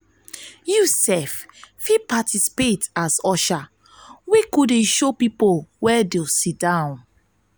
yu fit participate as usher wey go dey show pipo wia to stay